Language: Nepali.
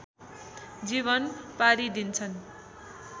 जीवन पारिदिन्छन्